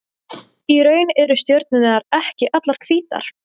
Í raun eru stjörnurnar ekki allar hvítar.